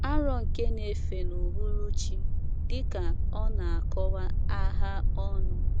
Aro nke n'efe n'ụhụrụ chi, dika ọna akọwa Agha ọnụ